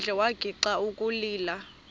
phandle wagixa ukulila